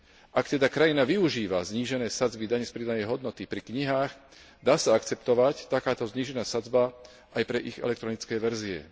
Ak teda krajina využíva znížené sadzby dane z pridanej hodnoty pri knihách, dá sa akceptovať takáto znížená sadzba aj pre ich elektronické verzie.